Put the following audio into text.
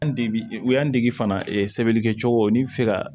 An deg u y'an dege fana sɛbɛnnikɛcogo n'i bɛ fɛ ka